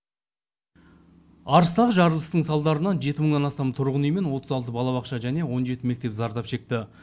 арыстағы жарылыстың салдарынан жеті мыңнан астам тұрғын үй мен отыз алты балабақша және он жеті мектеп зардап шекті